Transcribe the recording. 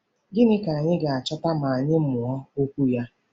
Gịnị ka anyị ga-achọta ma anyị mụọ Okwu ya?